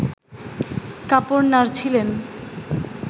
কাপড় নাড়ছিলেন